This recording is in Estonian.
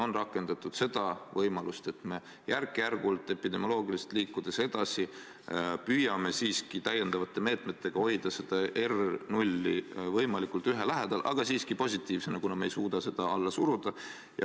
On rakendatud seda võimalust, et me järk-järgult epidemioloogiliselt edasi liikudes püüame täiendavate meetmetega hoida R0 võimalikult 1 lähedal, aga siiski positiivsena, kuna me ei suuda seda alla suruda.